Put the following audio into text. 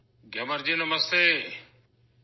گیامر جی، نمستے!